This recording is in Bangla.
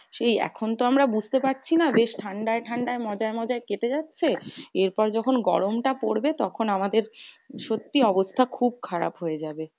সেই এখন তো আমরা বুঝতে পারছি না? বেশ ঠান্ডায় ঠান্ডায় মজায় মজায় কেটে যাচ্ছে। এরপর যখন গরমটা পড়বে তখন আমাদের সত্যি অবস্থা খুব খারাপ হয়ে যাবে।